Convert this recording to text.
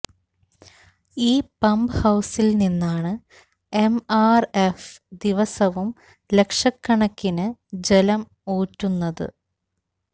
ഈ പമ്പ് ഹൌസില് നിന്നാണ് എംആര്എഫ് ദിവസവും ലക്ഷകണക്കിന് ജലം ഊറ്റുന്നത്